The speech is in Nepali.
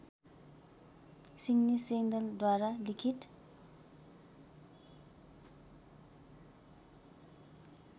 सिड्नी सेल्डनद्वारा लिखित